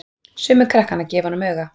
Sumir krakkanna gefa honum auga.